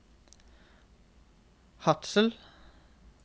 Hadsel